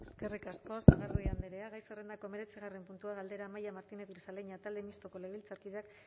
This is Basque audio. eskerrik asko sagardui andrea gai zerrendako hemeretzigarrena puntua galdera amaia martínez grisaleña talde mistoko legebiltzarkideak